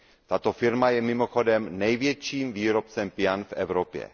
Tato firma je mimochodem největším výrobcem pian v Evropě.